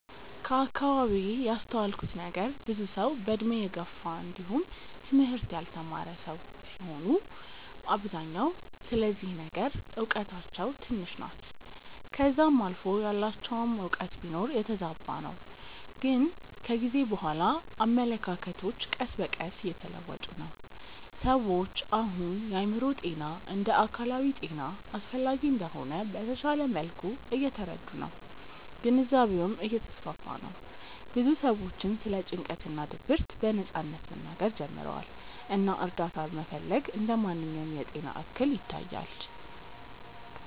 ከአከባቢዬ ያስተዋልኩት ነገር ብዙ ሰዉ በእድሜ የገፉ እንዲውም ትምህርት ያልተማረ ሰዉ ሲሆኑ በአብዛኛው ስለዚህ ነገር እውቀታቸው ትንሽ ናት ከዛም አልፎ ያላቸውም እውቀት ቢኖር የተዛባ ነው ግን ከጊዜ በኋላ አመለካከቶች ቀስ በቀስ እየተለወጡ ነው። ሰዎች አሁን የአእምሮ ጤና እንደ አካላዊ ጤና አስፈላጊ እንደሆነ በተሻለ መልኩ እየተረዱ ነው ግንዛቤውም እየተስፋፋ ነው ብዙ ሰዎችም ስለ ጭንቀት እና ድብርት በነጻነት መናገር ጀምረዋል እና እርዳታ መፈለግ እንደ ማንኛውም የጤና እክል ይታያል።